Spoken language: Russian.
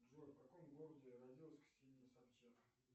джой в каком городе родилась ксения собчак